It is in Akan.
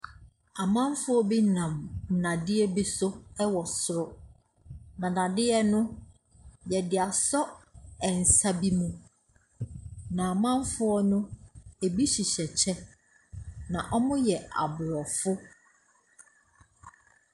Amanfoɔ bi nam nnadeɛ bi so wɔ soro. Na dadeɛ no, wɔde asɔ nsa bi mu. Na amanfoɔ no, ɛbi hyehyɛ kyɛ, na wɔyɛ Aborɔfo.